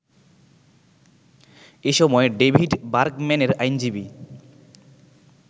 এসময় ডেভিড বার্গম্যানের আইনজীবী